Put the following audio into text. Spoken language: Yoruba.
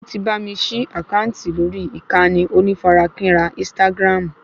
O ti bá mi ṣí àkáǹtì lórí ìkànnì onífarakínra ínstágráàmù